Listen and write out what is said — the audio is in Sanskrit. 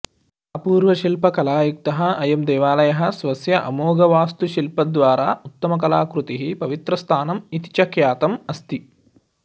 अपूर्वशिल्पकलायुक्तः अयं देवालयः स्वस्य अमोघवास्तुशिल्पद्वारा उत्तमाकलाकृतिः पवित्रस्थानम् इति च ख्यातम् अस्ति